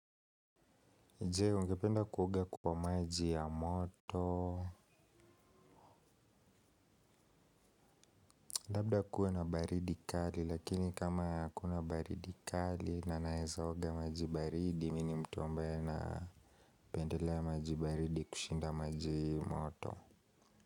Jee, ungependa kuoga kwa maji ya moto. Labda kuwe na baridi kali, lakini kama hakuna baridi kali, na naweza oga maji baridi, mimi ni mtu ambaye na pendela maji baridi kushinda maji moto.